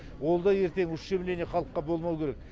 ол да ертең ущемление халыққа болмауы керек